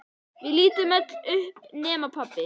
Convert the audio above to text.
Við lítum öll upp nema pabbi.